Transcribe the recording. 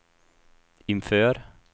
inför